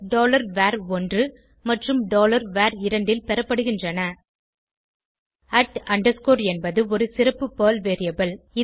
var1 மற்றும் var2 ல் பெறப்படுகின்றன என்பது ஒரு சிறப்பு பெர்ல் வேரியபிள்